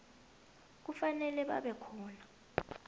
kufanele babe khona